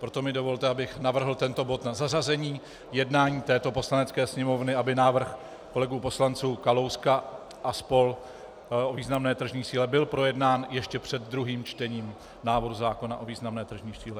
Proto mi dovolte, abych navrhl tento bod na zařazení jednání této Poslanecké sněmovny, aby návrh kolegů poslanců Kalouska a spol. o významné tržní síle byl projednán ještě před druhým čtením návrhu zákona o významné tržní síle.